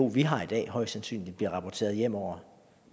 vi har i dag højst sandsynligt bliver rapporteret hjemover